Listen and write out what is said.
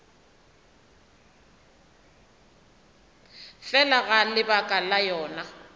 fela ga lebaka la yona